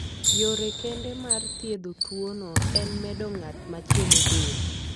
Yore kende mar thiedho tuwono en medo ng'at machielo del.